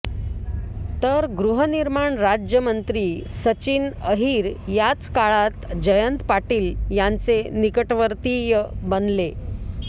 तर गृहनिर्माण राज्यमंत्री सचिन अहिर याच काळात जयंत पाटील यांचे निकटवर्तीय बनले